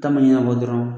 Taa ma ɲin'a kɔ dɔrɔn